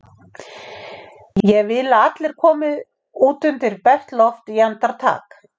Ég vil að allir komi út undir bert loft í andartak!